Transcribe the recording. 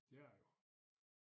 Det er det jo